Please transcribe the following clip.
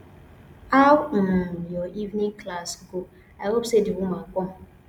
how um your evening class go i hope say the woman come